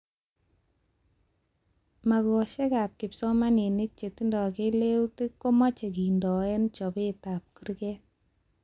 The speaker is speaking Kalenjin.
Mageshekab kipsomanink chetindoi keleutik komache kendoe chobetab kurget